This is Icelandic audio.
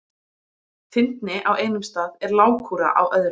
Fyndni á einum stað er lágkúra á öðrum.